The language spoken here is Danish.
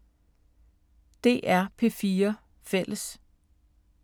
DR P4 Fælles